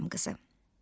Ayrım qızı.